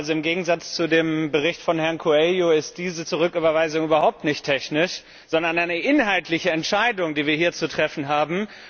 Im Gegensatz zu dem Bericht von Herrn Coelho ist diese Rücküberweisung keine technische, sondern eine inhaltliche Entscheidung, die wir hier zu treffen haben.